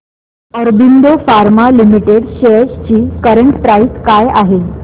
Aurobindo Pharma Limited shares ची current price काय आहे